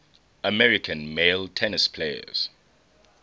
american male tennis players